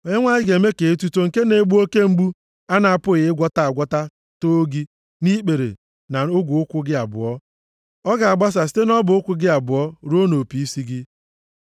Onyenwe anyị ga-eme ka etuto nke na-egbu oke mgbu a na-apụghị ịgwọta agwọta too gị nʼikpere na ogwe ụkwụ gị abụọ, ọ ga-agbasa site nʼọbọ ụkwụ gị abụọ ruo nʼopi isi gị.